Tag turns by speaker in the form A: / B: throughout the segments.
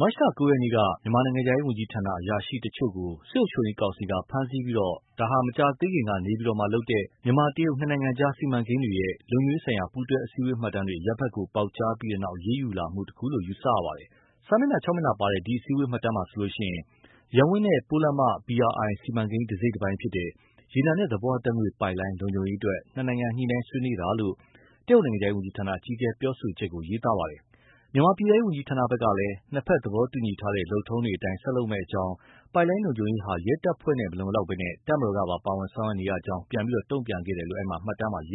A: မတ်လ ၉ ရက်က မြန်မာနိုင်ငံခြားရေး ဝန်ကြီးဌာန အရာရှိတချို့ကို စစ်အုပ်ချုပ်ရေးကောင်စီက ဖမ်းဆီးလိုက်ပြီး ဒါဟာ မကြာသေးခင်က နေပြည်တော်မှာလုပ်တဲ့ မြန်မာ- တရုတ် နှစ်နိုင်ငံကြား စီမံကိန်းတွေရဲ့ လုံခြုံရေးဆိုင်ရာ ပူးတွဲအစည်းအဝေး မှတ်တမ်းတွေ အရပ်ဘက်ကို ပေါက်ကြားပြီးနောက် အရေးယူလာမှုတခုလို့ ယူဆရပါတယ်။ စာမျက်နှာ ၆ မျက်နှာပါတဲ့ ဒီအစည်းအဝေး မှတ်တမ်းမှာဆိုရင် ရပ်ဝန်းနဲ့ ပိုးလမ်းမ BRI စီမံကိန်း တစိတ်တပိုင်းဖြစ်တဲ့ ရေနံနဲ့ သဘာဝဓာတ်ငွေ့ပိုက်လိုင်း လုံခြုံရေးအတွက် နှစ်နိုင်ငံ ညှိနှိုင်းဆွေးရတာလို့ တရုတ်နိုင်ငံခြားရေးဝန်ကြီးဌာန အကြီးအကဲ ပြောဆိုချက်ကို ရေးသားထားပါတယ်။ မြန်မာ ပြည်ထဲရေး ဝန်ကြီးဌာနဘက်ကလည်း နှစ်ဘက်သဘောတူညီထားတဲ့ လုပ်ထုံးတွေအတိုင်း ဆက်လုပ်မယ့်အကြောင်း၊ ပိုက်လိုင်းလုံခြုံရေးဟာ ရဲတပ်ဖွဲ့နဲ့ မလုံလောက်ဘဲ တပ်မတော်ကပါ ပါဝင်ဆောင်ရွက်နေရကြောင်း ပြန်တုံ့ပြန်ခဲ့တယ်လို့ ရေးထားပါတယ်။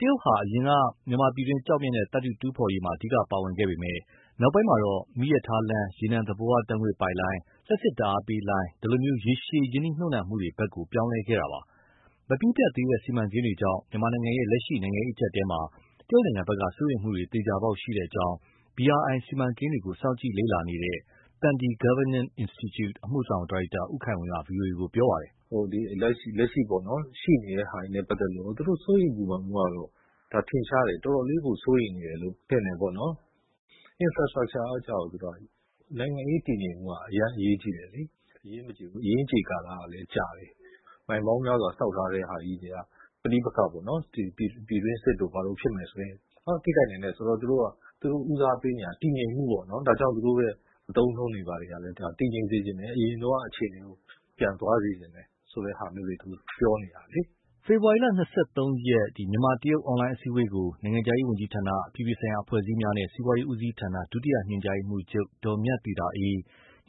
A: တရုတ်ဟာ အရင်က မြန်မာပြည်တွင်း ကျောက်မျက်နဲ့ သတ္ထုတူးဖော်ရေးမှာ အဓိကပါဝင်ခဲ့ပေမဲ့ နောက်ပိုင်းမှာ မီးရထားလမ်း၊ ရေနံသဘာဝ ဓာတ်ငွေ့ပိုက်လိုင်း၊ လျှပ်စစ်ဓာတ်အားလိုင်း ဒီလို ရေရှည်ရင်းနှီးမြှုပ်နှံမှုဘက် ပြောင်းလဲခဲ့တာပါ။ မပြီးပြတ်သေးတဲ့ စီမံကိန်းတွေကြောင့် မြန်မာနိုင်ငံရဲ့ လက်ရှိ နိုင်ငံရေး အကြပ်အတည်းမှာ တရုတ်ဘက်က စိုးရိမ်မှုတွေ သေချာပေါက်ရှိကြောင်း BRI စီမံကိန်းတွေကို စောင့်ကြည့်လေ့လာနေတဲ့ Sandhi Governance Institute အမှုဆောင် ဒါရိုက်တာ ဦးခိုင်ဝင်းက ဗွီအိုအေကို ပြောပါတယ်။ “လက်ရှိ ရှိနေတဲ့ဟာတွေနဲ့ ပတ်သက်လို့ သူတို့ရဲ့ စိုးရိမ်ပူပန်မှုကတော့ ထင်ရှားတယ်။ တော်တော်လေးကို စိုးရိမ်နေတယ်လို့ ထင်တယ်ပေါ့နော်... infrastructure က နိုင်ငံရေးတည်ငြိမ်ဖို့က အရမ်းအရေးကြီးတယ်လေ။ အရင်းကြေကာလကလည်း ကြာတယ်။ မိုင်ပေါင်းများစွာ ဆောက်ထားတဲ့ဟာကြီးတွေက ပဋိပက္ခတို့ ပြည်တွင်းစစ်တို့ ဖြစ်မယ်ဆိုရင် ထိခိုက်နိုင်တယ်ဆိုတော့ သူတို့က ဦးစားပေးနေရတာက တည်ငြိမ်မှုပေါ့။ ဒါကြောင့် သူတို့ရဲ့ အသုံးအနှုန်းတွေ ဘာတွေကလည်း တည်ငြိမ်စေချင်တယ်။ အရင်တုန်းက အခြေအနေ ပြန်သွားစေချင်တယ်ဆိုတဲ့ဟာမျိုးတွေ ပြောနေတာလေ။” ဖေဖော်ဝါရီ ၂၃ ရက် မြန်မာ- တရုတ် အွန်လိုင်း အစည်းအဝေးကို နိုင်ငံခြားရေး ဝန်ကြီးဌာန၊ အပြည်ပြည်ဆိုင်ရာ အဖွဲ့အစည်းများနှင့် စီးပွားရေး ဦးစီးဌာန ဒုတိယ ညွှန်ကြားရေးမှူးချုပ် ဒေါ်မြတ်သီတာအေး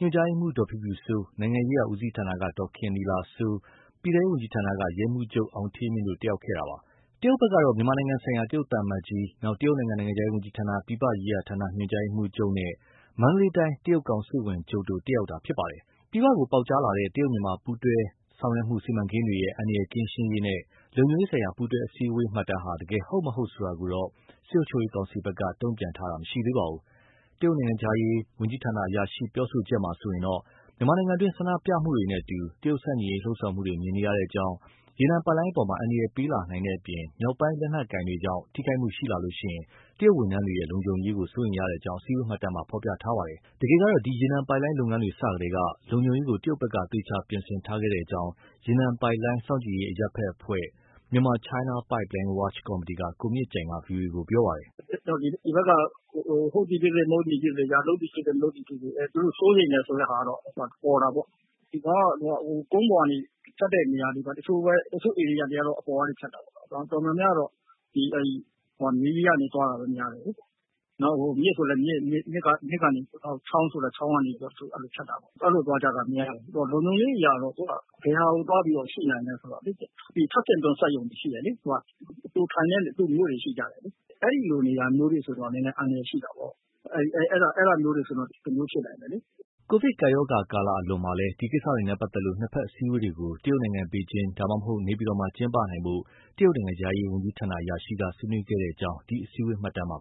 A: ၊ ညွှန်ကြားရေးမှူး ဒေါ်ဖြူဖြူစိုး၊ နိုင်ငံရေးရာဦးစီးဌာနက ဒေါ်ခင်နီလာစိုး၊ ပြည်ထဲရေး ဝန်ကြီးဌာနက ရဲမှူးချုပ် အောင်ဌေးမြင့်တို့ တက်ရောက်ခဲ့တာပါ။ တရုတ်ဘက်ကတော့ မြန်မာနိုင်ငံဆိုင်ရာ တရုတ်သံအမတ်ကြီး Mr Chen Hai၊ တရုတ်နိုင်ငံ နိုင်ငံခြားရေးဝန်ကြီးဌာန၊ ပြင်ပရေးရာဌာန ညွှန်ကြားရေးမှူးချုပ် Mr Bal Tian နဲ့ မန္တလေးတိုင်း တရုတ် ကောင်စစ်ဝန်ချုပ် Mr Chen Chen တို့တက်ရောက်ပါတယ်။ ပြင်ပကိုပေါက်ကြားလာတဲ့ တရုတ်- မြန်မာပူးပေါင်းဆောင်ရွက်မှု စီမံကိန်းတွေရဲ့ အန္တရာယ် ကင်းရှင်းရေးနှင့် လုံခြုံရေးဆိုင်ရာ ပူးတွဲအစည်းအဝေး မှတ်တမ်းဟာ တကယ် ဟုတ်၊ မဟုတ်ဆိုတာကိုတော့ စစ်ကောင်စီဘက်က တုံ့ပြန်တာမရှိသေးပါဘူး။ တရုတ်နိုင်ငံခြားရေး ဝန်ကြီးဌာန အရာရှိပြောဆိုချက်မှာဆိုရင် မြန်မာပြည်တွင်း ဆန္ဒပြမှုတွေနဲ့အတူ တရုတ်ဆန့်ကျင်ရေး လှုံ့ဆော်မှုတွေ မြင်နေရကြောင်း၊ ရေနံပိုက်လိုင်းအပေါ် အန္တရာယ်ပေးလာနိုင်တဲ့အပြင် မြောက်ပိုင်း လက်နက်ကိုင်တွေကြောင့် ထိခိုက်မှုရှိလာရင် တရုတ်ဝန်ထမ်းတွေရဲ့ လုံခြုံမှုကို စိုးရိမ်ရကြောင်း အစည်းအဝေး မှတ်တမ်းမှာ ရေးသားထားပါတယ်။ တကယ်တမ်းတော့ ဒီရေနံပိုက်လိုင်း လုပ်ငန်းစတွေကတည်းက လုံခြုံရေးကို တရုတ်ဘက်က သေချာပြင်ဆင်ထားခဲ့ကြောင်း ရေနံပိုက်လိုင်း စောင့်ကြည့်ရေး အရပ်ဘက်အဖွဲ့ (Myanmar-China Pipeline Watch Committee) က ကိုမြင့်ကြိုင်က ဗွီအိုအေကို ပြောပါတယ်။
B: “ဒီဘက်က ဟုတ်သည်ဖြစ်စေ၊ မဟုတ်သည်ဖြစ်စေ၊ လုပ်သည်ဖြစ်စေ၊ မလုပ်သည်ဖြစ်စေ သူတို့ စိုးရိမ်တယ် ဆိုတာကတော့ ပေါ်တာပေါ့။ ဒီကောင်က ကုန်းပေါ်ကနေဖြတ်တဲ့နေရာ တချို့ပဲ အပေါ်က တော်တော်များများက မြေကြီးထဲကနေ သွားတာများတယ်လေ။ နောက် မြစ်ဆို မြစ်ကနေ၊ ချောင်းဆို ချောင်းကနေ ဖြတ်တာပေါ့။ အဲဒီလိုသွားကြတာများတယ်။ လုံခြုံရေးအရဆိုရင် ဘယ်မှာ သွားရှိနိုင်လဲဆိုရင် ထပ်ဆင့်တွန်း စက်ရုံရှိတယ်လေ... သူထိုင်တဲ့ မြို့တွေ ရှိကြတယ်။ အဲဒီလိုနေရာမျိုးတွေဆိုရင်တော့ နည်းနည်းအန္တရာယ် ရှိတာပေါ့။ အဲဒါမျိုးတွေဆိုရင် တမျိုး ဖြစ်နိုင်တယ်လေ။
A: ” ကိုဗစ်ကပ်ရောဂါ အလွန်မှာလည်း ဒီကိစ္စတွေနဲ့ပတ်သက်ပြီး နှစ်ဘက် အစည်းအဝေးတွေကို တရုတ်နိုင်ငံ ဘေ
B: ဂျင်းမြို့၊ ဒါမှမဟုတ်ရင် နေပြည်တော်မှာ ကျင်းပနိုင်ဖို့ တရုတ်နိုင်ငံခြားရေး ဝန်ကြီးဌာနအရာရှိက ဆွေးနွေးခဲ့ကြောင်း ဒီအစည်းအဝေး မှတ်တမ်းမှာ